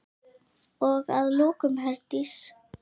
Og að lokum, Herdís.